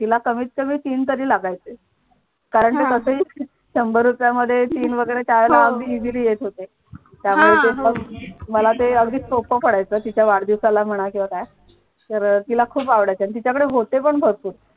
तिला कमीत कमी तीन तरी लागायचे कारण कसेही शंभर रुपयांमध्ये तीन वगैरे त्या वेळेला अगदी easily येत होते त्यामुळे ते मग मला अगदी सोप पडायचं तिच्या वाढदिवसाला म्हणा किंवा काय तर अह तिला ते खूप आवडायचे तिच्याकडे होते पण भरपूर